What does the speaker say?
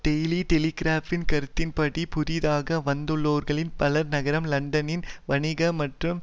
daily டெலிகிராப்பின் கருத்தின்படி புதிதாக வந்துள்ளவர்களில் பலர் நகரம் லண்டனின் வணிக மற்றும்